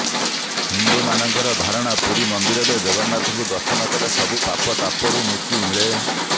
ହିନ୍ଦୁମାନଙ୍କର ଧାରଣା ପୂରୀ ମନ୍ଦିରରେ ଜଗନ୍ନାଥଙ୍କୁ ଦର୍ଶନ କଲେ ସବୁ ପାପତାପରୁ ମୁକ୍ତି ମିଳେ